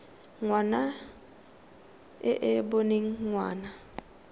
ngwana e e boneng ngwana